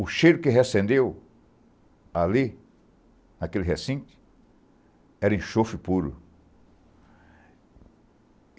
O cheiro que reacendeu ali, naquele recinto, era enxofre puro.